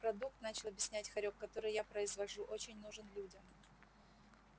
продукт начал объяснять хорёк который я произвожу очень нужен людям